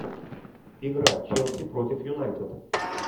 игра челси против юнайтед